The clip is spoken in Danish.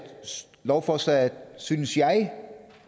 lovforslaget synes jeg